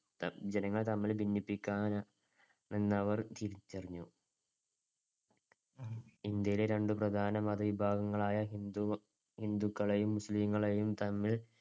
ജനങ്ങൾ തമ്മിൽ ഭിന്നിപ്പിക്കാൻ എന്നവർ തിരിച്ചറിഞ്ഞു. ഇന്ത്യയിലെ രണ്ട് പ്രധാന മതവിഭാഗങ്ങളായ ഹിന്ദു~ ഹിന്ദുക്കളെയും മുസ്ലിംകളെയും തമ്മിൽ